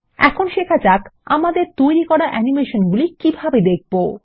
এখন শেখা যাক আমাদের তৈরী করা অ্যানিমেশনগুলি কিভাবে দেখবো